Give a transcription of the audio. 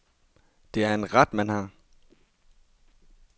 Det er en ret, man har.